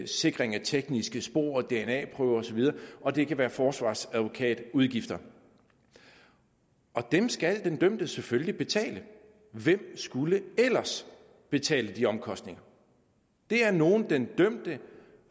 sikring af tekniske spor og dna prøver osv og det kan være forsvarsadvokatudgifter dem skal den dømte selvfølgelig betale hvem skulle ellers betale de omkostninger det er nogle den dømte